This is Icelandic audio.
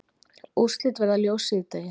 Úrslit verða ljós síðdegis